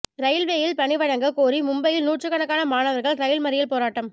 ரயில்வேயில் பணி வழங்க கோரி மும்பையில் நூற்றுக்கணக்கான மாணவர்கள் ரயில் மறியல் போராட்டம்